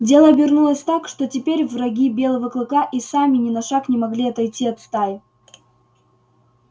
дело обернулось так что теперь враги белого клыка и сами ни на шаг не могли отойти от стаи